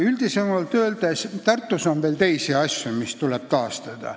Üldisemalt öeldes aga on Tartus veel muidki asju, mis tuleb taastada.